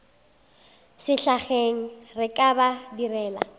sehlageng re ka ba direla